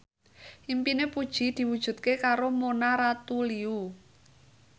impine Puji diwujudke karo Mona Ratuliu